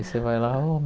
E você vai lá ó.